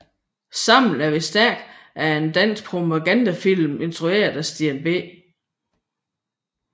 Sammen er vi stærke er en dansk propagandafilm instrueret af Steen B